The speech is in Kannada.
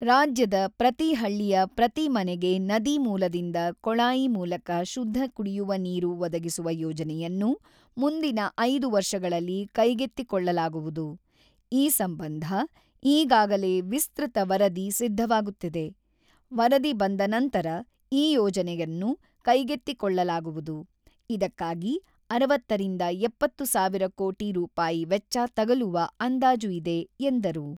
"ರಾಜ್ಯದ ಪ್ರತಿ ಹಳ್ಳಿಯ ಪ್ರತಿ ಮನೆಗೆ ನದಿ ಮೂಲದಿಂದ ಕೊಳಾಯಿ ಮೂಲಕ ಶುದ್ಧ ಕುಡಿಯುವ ನೀರು ಒದಗಿಸುವ ಯೋಜನೆಯನ್ನು ಮುಂದಿನ ಐದು ವರ್ಷಗಳಲ್ಲಿ ಕೈಗೆತ್ತಿಕೊಳ್ಳಲಾಗುವುದು ; ಈ ಸಂಬಂಧ ಈಗಾಗಲೇ ವಿಸ್ತ್ರತ ವರದಿ ಸಿದ್ಧವಾಗುತ್ತಿದೆ ; ವರದಿ ಬಂದ ನಂತರ ಈ ಯೋಜನೆಯನ್ನು ಕೈಗೆತ್ತಿಕೊಳ್ಳಲಾಗುವುದು ; ಇದಕ್ಕಾಗಿ ಅರವತ್ತ ರಿಂದ ಎಪ್ಪತ್ತು ಸಾವಿರ ಕೋಟಿ ರೂಪಾಯಿ ವೆಚ್ಚ ತಗಲುವ ಅಂದಾಜು ಇದೆ" ಎಂದರು.